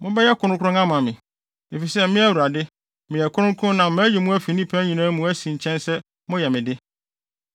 Mobɛyɛ kronkron ama me, efisɛ me Awurade, meyɛ kronkron na mayi mo afi nnipa nyinaa mu asi nkyɛn sɛ moyɛ me de.